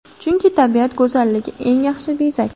Chunki, tabiat go‘zalligi eng yaxshi bezak.